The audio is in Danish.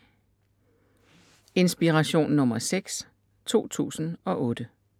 Inspiration nr. 6 2008